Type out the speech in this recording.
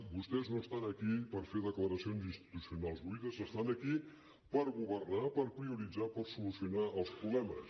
vostès no estan aquí per fer declaracions institucionals buides estan aquí per governar per prioritzar per solucionar els problemes